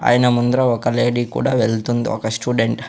ఆయన ముందర ఒక లేడీ కూడా వెళుతుంది ఒక స్టూడెంట్ .